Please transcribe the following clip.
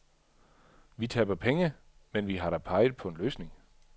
Vi taber penge, men vi har da peget på en løsning.